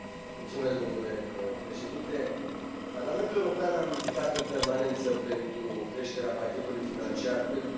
Parlamentul European a militat în permanență pentru creșterea pachetului financiar pentru Instrumentul European de Vecinătate și Parteneriat.